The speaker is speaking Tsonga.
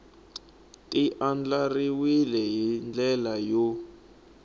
ti andlariwile hi ndlela yo